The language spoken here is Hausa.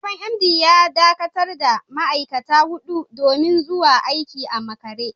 Sabon MD ya dakatar da ma’aikata hudu domin zuwa aiki a makare.